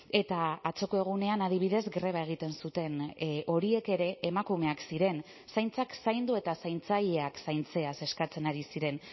eta atzoko egunean adibidez greba egiten zuten horiek ere emakumeak ziren zaintzak zaindu eta zaintzaileak zaintzeaz eskatzen ari ziren